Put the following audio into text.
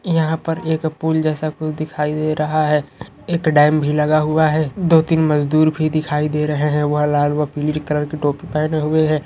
यहाँ पर एक पुल जैसा कुछ दिखाई दे रहा है एक डेम भी लगा हुआ है दो तीन मजदूर भी दिखाई दे रहे है वह लाल व पीली कलर की टोपी पहने हुए है।